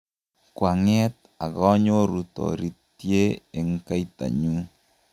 koang'et akanyoru toritye eng' kaitanyu